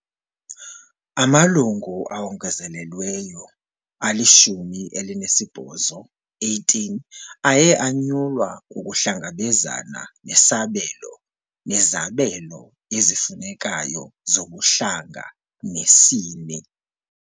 Amalungu awongezelelweyo ali-18 aye anyulwa ukuhlangabezana nesabelo nezabelo ezifunekayo zobuhlanga nesini